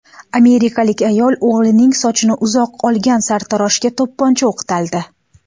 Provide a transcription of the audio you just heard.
Amerikalik ayol o‘g‘lining sochini uzoq olgan sartaroshga to‘pponcha o‘qtaldi.